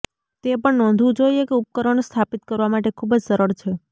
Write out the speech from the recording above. તે પણ નોંધવું જોઇએ કે ઉપકરણ સ્થાપિત કરવા માટે ખૂબ જ સરળ છે